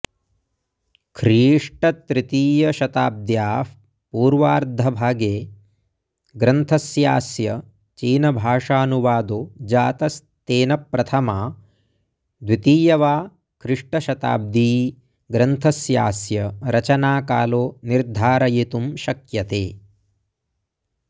ख्रीष्टतृतीयशताब्द्याः पूर्वार्धभागे ग्रन्थस्यास्य चीनभाषानुवादो जातस्तेन प्रथमा द्वितीय वा ख्रिष्टशताब्दी ग्रन्थस्यास्य रचनाकालो निर्धारयितुं शक्यते